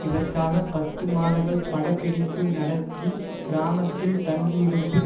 இதற்காக பத்து மாதங்கள் படப்பிடிப்பு நடத்திய கிராமத்தில் தங்கியிருந்து